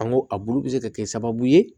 An go a bulu bi se ka kɛ sababu ye